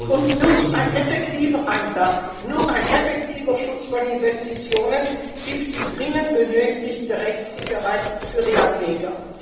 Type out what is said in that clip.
Und nur ein effektiver Einsatz, nur ein effektiver Schutz von Investitionen gibt die dringend benötigte Rechtssicherheit für die Anleger.